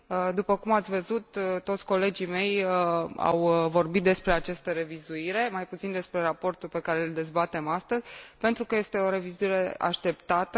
După cum ați văzut, toți colegii mei au vorbit despre această revizuire, mai puțin despre raportul pe care îl dezbatem astăzi, pentru că este o revizuire așteptată.